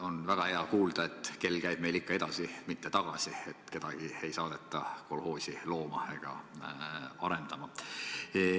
On väga hea kuulda, et kell käib meil ikka edaspidi, mitte tagaspidi – et kedagi ei saadeta kolhoosi looma ega arendama.